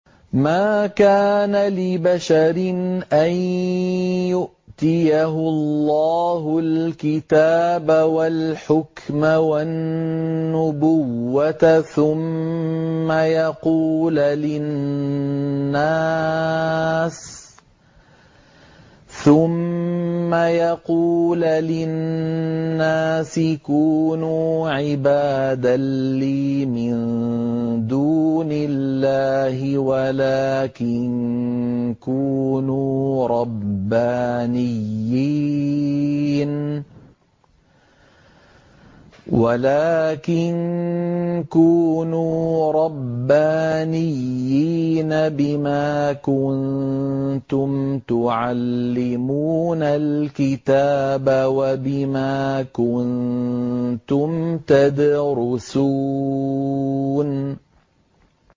مَا كَانَ لِبَشَرٍ أَن يُؤْتِيَهُ اللَّهُ الْكِتَابَ وَالْحُكْمَ وَالنُّبُوَّةَ ثُمَّ يَقُولَ لِلنَّاسِ كُونُوا عِبَادًا لِّي مِن دُونِ اللَّهِ وَلَٰكِن كُونُوا رَبَّانِيِّينَ بِمَا كُنتُمْ تُعَلِّمُونَ الْكِتَابَ وَبِمَا كُنتُمْ تَدْرُسُونَ